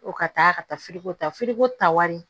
Ko ka taa ka taa ta ta wari